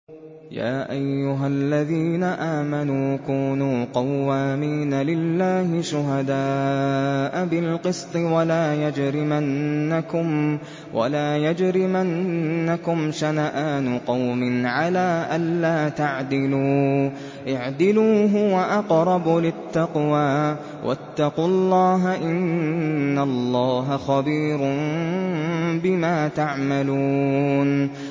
يَا أَيُّهَا الَّذِينَ آمَنُوا كُونُوا قَوَّامِينَ لِلَّهِ شُهَدَاءَ بِالْقِسْطِ ۖ وَلَا يَجْرِمَنَّكُمْ شَنَآنُ قَوْمٍ عَلَىٰ أَلَّا تَعْدِلُوا ۚ اعْدِلُوا هُوَ أَقْرَبُ لِلتَّقْوَىٰ ۖ وَاتَّقُوا اللَّهَ ۚ إِنَّ اللَّهَ خَبِيرٌ بِمَا تَعْمَلُونَ